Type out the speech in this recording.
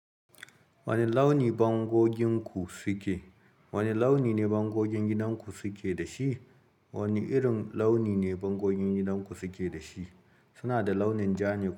Wane launi bangoginku suke? Wane launi ne bangogin gidan ku suke da shi? Wane irin launi ne bangogin gidan ku suke da shi? Su na da launin ja ne.